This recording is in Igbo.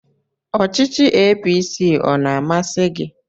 Ọchịchọ APC ọ na-amasi gị?